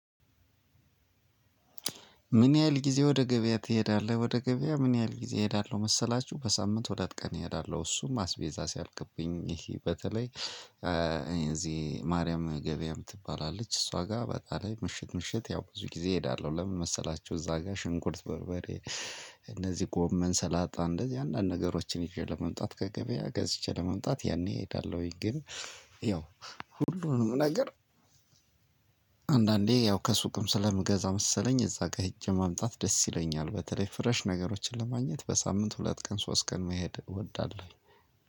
ምን ያህል ጊዜ ወደ ገበያ ትሄዳለህ? ወደ ገበያ ምን ያህል ጊዜ እሄዳለሁ መሰላችሁ በሳምንት ሁለት ቀን እሄዳለሁ። እሱም አስቤዛ ሲያልቅብኝ ይሂ በተለይ እዚህ ማርያም ገበያም ትባላለች እሷ ጋር በጣም ምሽት ምሽት ያው ብዙ ጊዜ እሄዳለሁ። ለምን መሰላችሁ? እዛ ጋር ሽንኩርት በርበሬ እነዚህ ጎመን ሰላጣ እንደዚህ አንዳንድ ነገሮችን ይዤ ለመምጣት ከገበያ ገዝቼ ለመምጣት ያኔ እሄዳለሁኝ። ግን ያው ሁሉንም ነገር አንዳንዴ ያው ከሱቅም ስለምገዛ መሰለኝ እዛ ጋ ሂጄ ማምጣት ደስ ይለኛል። በተለይ ፍሬሽ ነገሮችን ለማግኘት በሳምንት ሁለት ቀን ሶስት ቀን መሄድ እወዳለሁ።